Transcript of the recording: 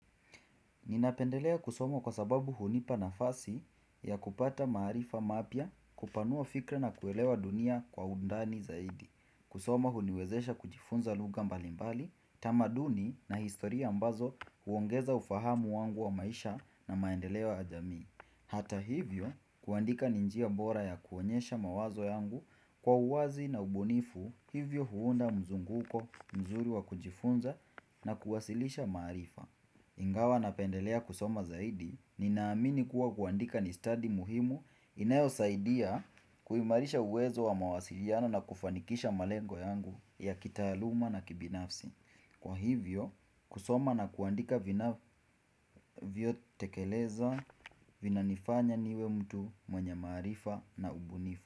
Ninapendelea kusoma kwa sababu hunipa nafasi ya kupata maaarifa mapya kupanua fikra na kuelewa dunia kwa undani zaidi. Kusoma huniwezesha kujifunza lugha mbalimbali, tamaduni na historia ambazo huongeza ufahamu wangu wa maisha na maendeleo ya jamii. Hata hivyo kuandika ni njia bora ya kuonyesha mawazo yangu kwa uwazi na ubunifu hivyo huunda mzunguko mzuri wa kujifunza na kuwasilisha maarifa. Ingawa napendelea kusoma zaidi, ninaamini kuwa kuandika ni stadi muhimu inayo saidia kuimarisha uwezo wa mawasiliano na kufanikisha malengo yangu ya kitaaluma na kibinafsi. Kwa hivyo, kusoma na kuandika vinavyo tekelezwa vina nifanya niwe mtu mwenye maarifa na ubunifu.